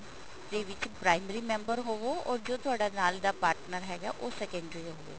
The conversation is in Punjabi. ਦੇ ਵਿੱਚ primary ਮੈਂਬਰ ਹੋਵੋ or ਜੋ ਤੁਹਾਡੇ ਨਾਲ ਦਾ partner ਹੈਗਾ ਉਹ secondary ਹੋਵੇ